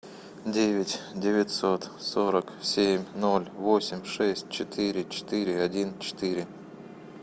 девять девятьсот сорок семь ноль восемь шесть четыре четыре один четыре